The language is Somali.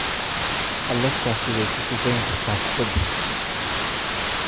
alexa sidee ku sifayn kartaa kubada